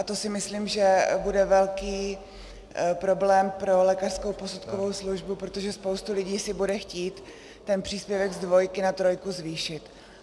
A to si myslím, že bude velký problém pro lékařskou posudkovou službu, protože spousta lidí si bude chtít ten příspěvek z dvojky na trojku zvýšit.